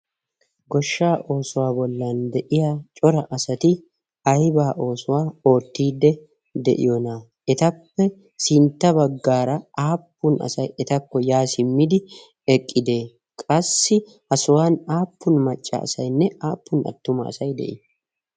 goshsha oosuwaa bollan de7iya cora asati aibaa oosuwaa oottiidde de7iyoonaa etappe sintta baggaara aappun asai etakko yaa simmidi eqqidee qassi ha sohuwan aappun maccaasainne aappun attuma asai de7ii